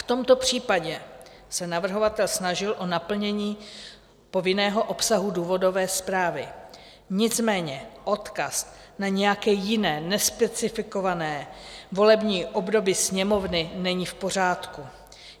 V tomto případě se navrhovatel snažil o naplnění povinného obsahu důvodové zprávy, nicméně odkaz na nějaké jiné nespecifikované volební období Sněmovny není v pořádku.